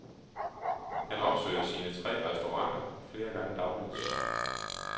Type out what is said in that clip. Han opsøger sine tre restauranter flere gange dagligt.